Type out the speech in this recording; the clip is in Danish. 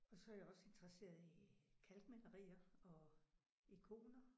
Og så er jeg også interesseret i kalkmalerier og ikoner